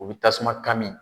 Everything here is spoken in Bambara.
U bi tasuma kami